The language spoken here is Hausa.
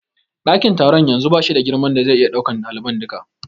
Ɗakin taron yanzu bashi da girman da zai iya ɗaukan ɗaliban duka.